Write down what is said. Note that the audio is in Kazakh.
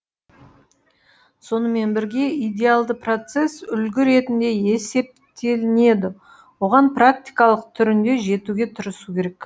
сонымен бірге идеалды процесс үлгі ретінде есептелінеді оған практикалық түрінде жетуге тырысу керек